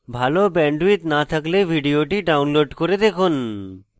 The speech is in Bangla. ভাল bandwidth না থাকলে ভিডিওটি download করে দেখুন